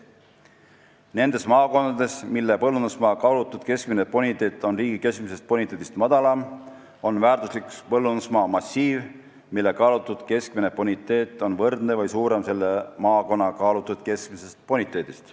Nendes maakondades, mille põllumajandusmaa kaalutud keskmine boniteet on riigi keskmisest boniteedist madalam, on väärtuslik põllumajandusmaa massiiv, mille kaalutud keskmine boniteet on võrdne või suurem selle maakonna kaalutud keskmisest boniteedist.